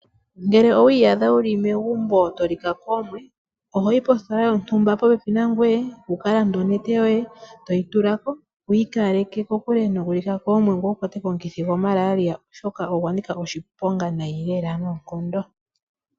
Ngele owi iyadha wu li megumbo to lika koomwe, oho yi positola yontumba popepi nangoye wu ka lande onete yoye yoomwe, e toyi tula ko wi ikaleke kokule nokulika koomwe ngoye wu kwatwe komukithi gwaMalaria, oshoka ogwa nika oshiponga noonkondo.